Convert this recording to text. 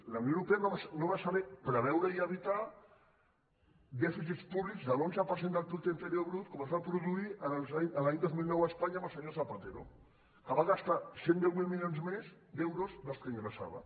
la unió europea no va saber preveure i evitar dèficits públics de l’onze per cent del producte interior brut com es va produir l’any dos mil nou a espanya amb el senyor zapatero que va gastar cent i deu mil milions més d’euros dels que ingressava